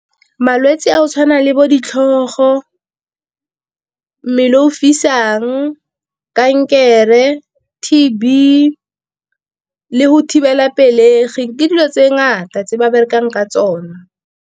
Malwetse a go tshwana le bo ditlhogo, mmele o fisang, kankere, T_B le go thibela pelegi ke dilo tse ngata tse ba berekang ka tsone.